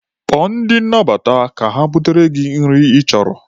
Kpọọ ndị nnabata ha ka ha butere gị nri ị chọrọ.